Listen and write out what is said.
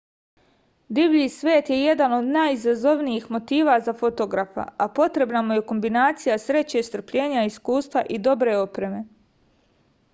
divlji svet je jedan od najizazovnijih motiva za fotografa a potrebna mu je kombinacija sreće strpljenja iskustva i dobre opreme